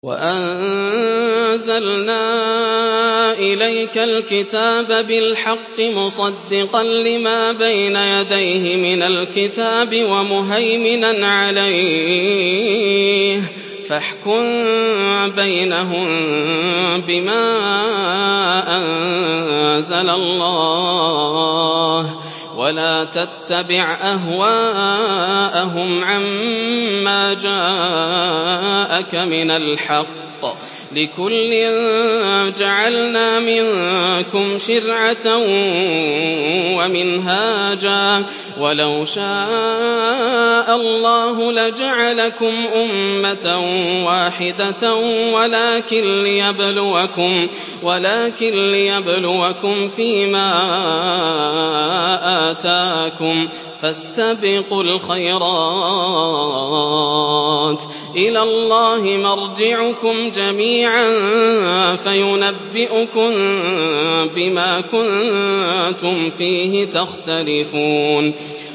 وَأَنزَلْنَا إِلَيْكَ الْكِتَابَ بِالْحَقِّ مُصَدِّقًا لِّمَا بَيْنَ يَدَيْهِ مِنَ الْكِتَابِ وَمُهَيْمِنًا عَلَيْهِ ۖ فَاحْكُم بَيْنَهُم بِمَا أَنزَلَ اللَّهُ ۖ وَلَا تَتَّبِعْ أَهْوَاءَهُمْ عَمَّا جَاءَكَ مِنَ الْحَقِّ ۚ لِكُلٍّ جَعَلْنَا مِنكُمْ شِرْعَةً وَمِنْهَاجًا ۚ وَلَوْ شَاءَ اللَّهُ لَجَعَلَكُمْ أُمَّةً وَاحِدَةً وَلَٰكِن لِّيَبْلُوَكُمْ فِي مَا آتَاكُمْ ۖ فَاسْتَبِقُوا الْخَيْرَاتِ ۚ إِلَى اللَّهِ مَرْجِعُكُمْ جَمِيعًا فَيُنَبِّئُكُم بِمَا كُنتُمْ فِيهِ تَخْتَلِفُونَ